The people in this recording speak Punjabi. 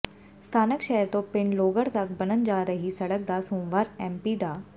ਸਥਾਨਕ ਸ਼ਹਿਰ ਤੋਂ ਪਿੰਡ ਲੋਹਗੜ੍ਹ ਤਕ ਬਣਨ ਜਾ ਰਹੀ ਸੜਕ ਦਾ ਸੋਮਵਾਰ ਐੱਮਪੀ ਡਾ